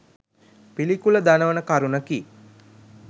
පිළිකුල දනවන කරුණකි.